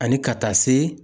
Ani ka taa se